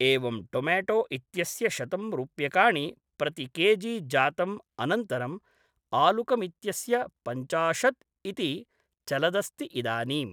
एवं टोमेटो इत्यस्य शतं रूप्यकाणि प्रति केजि जातम् अनन्तरम् आलुकमित्यस्य पञ्चाशद् इति चलदस्ति इदानीम्